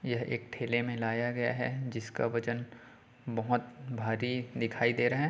यह एक ठेले में लाया गया है जिसका वजन बोहोत भारी दिखाई दे रहा हैं।